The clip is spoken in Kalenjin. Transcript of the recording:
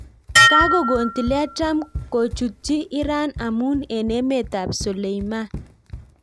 Kakokoon tileet trump kochutchii Iraan amuu eng meet ap Soleiman